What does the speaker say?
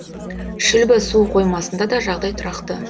шүлбі су қоймасында да жағдай тұрақты